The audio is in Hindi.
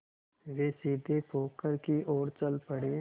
वे सीधे पोखर की ओर चल पड़े